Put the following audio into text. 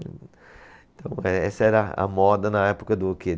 Então eh, essa era a moda na época do quê?